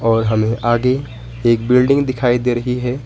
और हमें आगे एक बिल्डिंग दिखाई दे रही है।